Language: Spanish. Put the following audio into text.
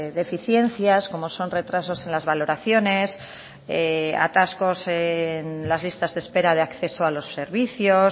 deficiencias como son retrasos en las valoraciones atascos en las listas de espera de acceso a los servicios